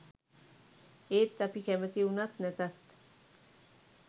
ඒත් අපි කැමැති වුණත් නැතත්